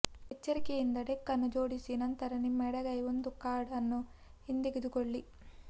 ಎಚ್ಚರಿಕೆಯಿಂದ ಡೆಕ್ ಅನ್ನು ಜೋಡಿಸಿ ನಂತರ ನಿಮ್ಮ ಎಡಗೈ ಒಂದು ಕಾರ್ಡ್ ಅನ್ನು ಹಿಂತೆಗೆದುಕೊಳ್ಳಿ